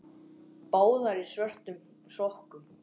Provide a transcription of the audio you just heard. Báðar í svörtum sokkum.